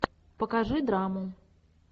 покажи драму